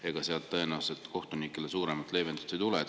Ega sealt tõenäoliselt kohtunikele suuremat leevendust ei tule.